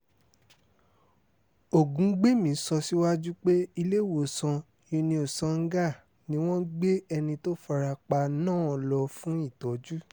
ògúngbẹ̀mí sọ síwájú pé iléèwòsàn uniosangah ni wọ́n gbé ẹni tó fara pa náà lọ fún ìtọ́jú